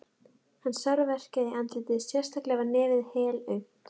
Hann sárverkjaði í andlitið, sérstaklega var nefið helaumt.